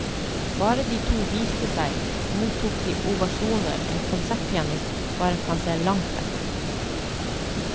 Bare de to viste seg, mottok de ovasjoner en konsertpianist bare kan se langt etter.